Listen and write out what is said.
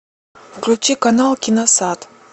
включи канал киносад